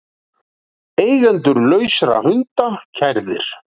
Eigendur lausra hunda kærðir